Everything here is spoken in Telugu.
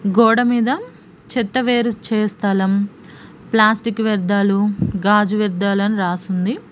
గోడ మీద చెత్త వేరు చేయు స్థలం ప్లాస్టిక్ వ్యర్థాలు గాజు వ్యర్థాలు అని రాసి ఉంది.